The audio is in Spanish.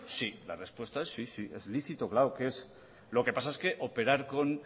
sí la respuesta es sí sí es lícito claro que es lo que pasa es que operar con